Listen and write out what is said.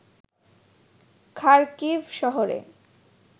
Kharkiv শহরে